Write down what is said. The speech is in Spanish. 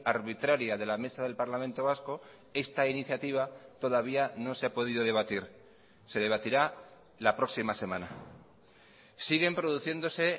arbitraria de la mesa del parlamento vasco esta iniciativa todavía no se ha podido debatir se debatirá la próxima semana siguen produciéndose